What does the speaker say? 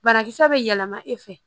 Banakisɛ bɛ yɛlɛma e fɛ